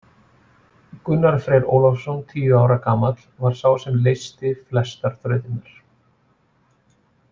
Gunnar Freyr Ólafsson, tíu ára gamall, var sá sem leysti flestar þrautirnar.